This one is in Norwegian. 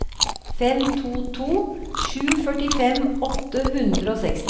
fem to to sju førtifem åtte hundre og seksti